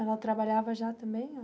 Ela trabalhava já também?